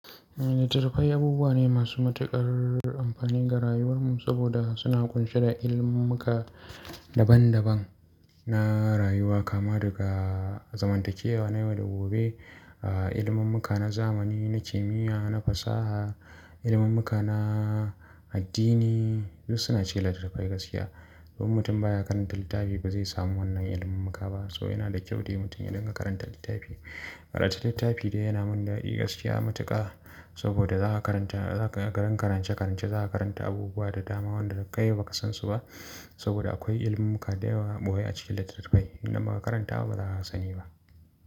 Littattafai abubuwa ne masu matuƙar amfani ga rayuwar mu, saboda suna ƙunshe da ilimummuka daban daban na rayuwa, kama daga zamantakewa na yau da gobe, ah, ilimummuka na zamani, na kimiyya, na fasaha, ilimummuka na addini, duk suna cikin littattafai gaskiya. Don mutum baya karanta littafi ba zai samu wannan ilimummuka ba. So yana da kyau dai mutum ya dinga karanta littafi. Karanta littafi dai yana mun dadi gaskiya matuƙa, saboda za ka karanta, za ka, gan karance-karance za ka karanta abubuwa da dama wanda kai ba ka san su ba. Saboda akwai ilimummuka da yawa boyai a cikin littattafai in dan ba ka karanta ba ba za a sani ba.